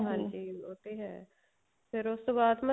ਉਹ ਤੇ ਹੈ ਫ਼ੇਰ ਉਸ ਤੋਂ ਬਾਅਦ